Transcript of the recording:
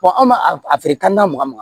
an b'a a feere kantanna makan ma